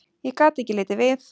Ég gat ekki litið við.